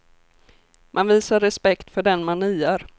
Man visar respekt för den man niar.